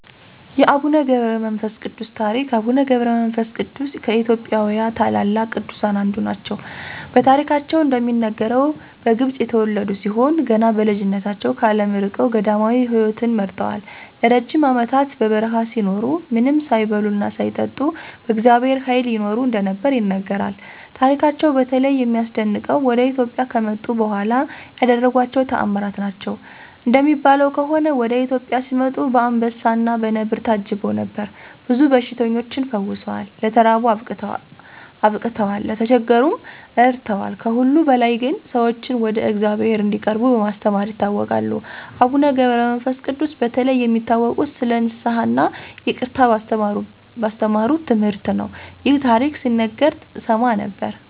የአቡነ ገብረ መንፈስ ቅዱስ ታሪክ አቡነ ገብረ መንፈስ ቅዱስ ከኢትዮጵያ ታላላቅ ቅዱሳን አንዱ ናቸው። በታሪካቸው እንደሚነገረው፣ በግብፅ የተወለዱ ሲሆን ገና በልጅነታቸው ከዓለም ርቀው ገዳማዊ ሕይወትን መርጠዋል። ለረጅም ዓመታት በበረሃ ሲኖሩ፣ ምንም ሳይበሉና ሳይጠጡ በእግዚአብሔር ኃይል ይኖሩ እንደነበር ይነገራል። ታሪካቸው በተለይ የሚያስደንቀው ወደ ኢትዮጵያ ከመጡ በኋላ ያደረጓቸው ተአምራት ናቸው። እንደሚባለው ከሆነ፣ ወደ ኢትዮጵያ ሲመጡ በአንበሳና በነብር ታጅበው ነበር። ብዙ በሽተኞችን ፈውሰዋል፣ ለተራቡ አብቅተዋል፣ ለተቸገሩም ረድተዋል። ከሁሉ በላይ ግን፣ ሰዎችን ወደ እግዚአብሔር እንዲቀርቡ በማስተማር ይታወቃሉ። አቡነ ገብረ መንፈስ ቅዱስ በተለይ የሚታወቁት ስለ ንስሐ እና ይቅርታ ባስተማሩት ትምህርት ነው። ይህ ታሪክ ሲነገር እሰማ ነበር።